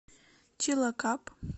чилакап